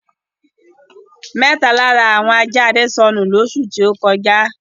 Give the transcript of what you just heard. Mẹ́ta lára àwọn ajá Adé sọnù lóṣù tó kọjá.